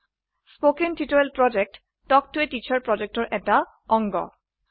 কথন শিক্ষণ প্ৰকল্প তাল্ক ত a টিচাৰ প্ৰকল্পৰ এটা অংগ